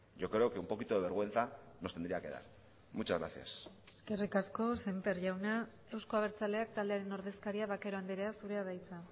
yo creo que un poquito de vergüenza nos tendría que dar muchas gracias eskerrik asko sémper jauna euzko abertzaleak taldearen ordezkaria vaquero andrea zurea da hitza